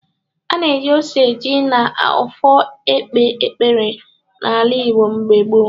Ana eji ose ọjị na ọfọ ekpe ekpere na-ala Igbo mgbe gboo.